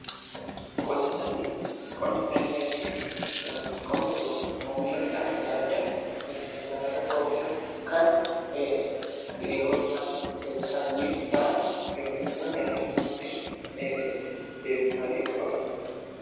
Qonna sanyii jechuun yookiin oomisha midhaan adda addaa lafarratti oomishamu kan yeroo itti aanuuf sanyiif ta'an yookiin immoo nyaata osoon ta'in deebifamanii qotabmanidha.